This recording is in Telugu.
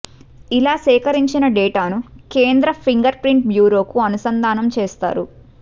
ఇలా సేకరించిన డేటాను కేంద్ర ఫింగర్ ప్రింట్ బ్యూరోకు అనుసంధానం చేస్తారు